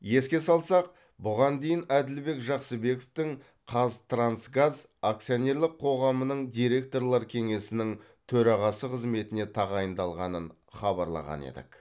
еске салсақ бұған дейін әділбек жақсыбековтің қазтрансгаз акционерлік қоғамының директорлар кеңесінің төрағасы қызметіне тағайындалғанын хабарлаған едік